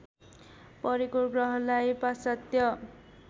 परेको ग्रहलाई पाश्चात्य